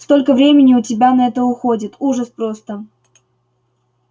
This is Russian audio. столько времени у тебя на это уходит ужас просто